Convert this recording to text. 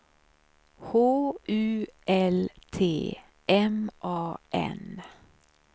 H U L T M A N